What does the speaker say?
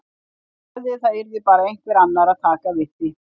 Ég sagði að það yrði bara einhver annar að taka við því.